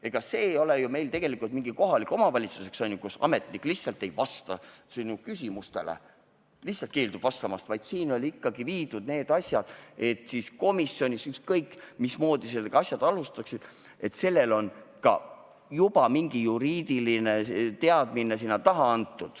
Ega see ei ole meil mingisugune kohalik omavalitsus, kus ametnik lihtsalt ei vasta sinu küsimustele, lihtsalt keeldub vastamast, vaid siin on need asjad viidud ikkagi sellele tasemele, et komisjonis, ükskõik mismoodi selle asjaga alustatakse, on sellel ka juba mingisugune juriidiline teadmine taga.